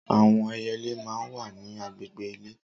Awọn ẹyẹlé mà n wà ni àgbégbé ilé